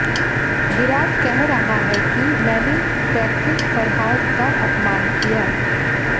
विराट कह रहा है कि मैंने पैट्रिक फरहार्ट का अपमान किया